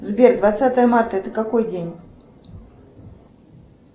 сбер двадцатое марта это какой день